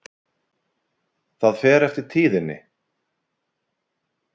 Það fer eftir tíðinni.